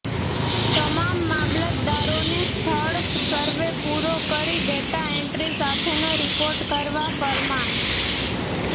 તમામ મામલતદારોને સ્થળ સરવે પૂરો કરી ડેટા એન્ટ્રી સાથેનો રિપોર્ટ કરવા ફરમાન